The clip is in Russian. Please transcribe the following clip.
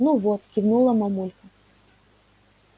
ну вот кивнула мамулька